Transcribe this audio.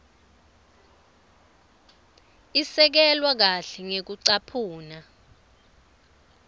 isekelwe kahle ngekucaphuna